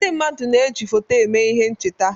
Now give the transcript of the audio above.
Ndị mmadụ na-eji foto eme ihe ncheta.